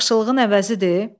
Bu da yaxşılığın əvəzidir?